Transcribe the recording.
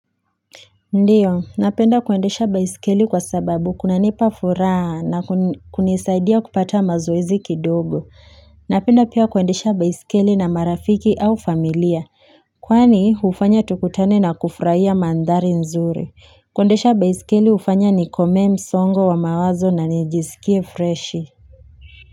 Ndiyo ninapenda kuendesha baisikeli kwa sababu kunanipa furaha na kunisaidia kupata mazoezi kidogo napenda pia kuendesha baisikeli na marafiki au familia kwani hufanya tukutane na kufurahia mandhari nzuri kuendesha baisikeli hufanya nikomee msongo wa mawazo na nijisikie freshi.